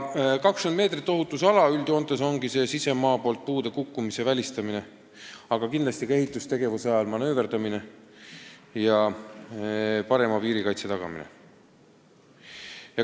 20 meetrit ohutusala üldjoontes ongi vaja sisemaa poolt puude kukkumise välistamiseks, aga kindlasti ka ehitustegevuse ajal manööverdamiseks ja parema piirikaitse tagamiseks.